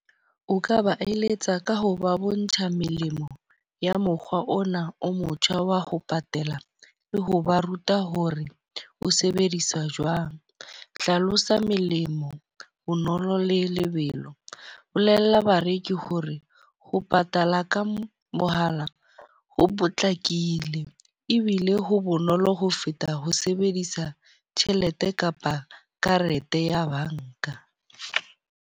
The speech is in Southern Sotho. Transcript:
O ka ba eletsa ka ho ba bontsha melemo ya mokgwa ona o motjha wa ho patala le ho ba ruta hore o sebediswa jwang. Hlalosa melemo bonolo le lebelo. Bolella bareki ho re ho patala ka mohala ho potlakile ebile ho bonolo ho feta ho sebedisa tjhelete kapa karete ya banka.